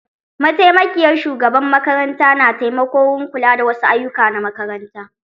Mataimakiyar shugaban makaranta na taimako wurin kula da wa su ayyuka na makaranta